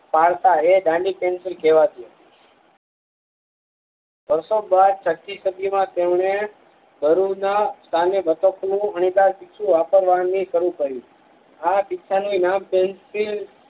pencil કેવાતીનવસો બરસો છતીસદીમાં તેમને બરુદના સ્થાને બતક નું અણીદાર પીછું વાપરવાની શરુ કરીયું આ પીછા ની નામ પેન્સિલ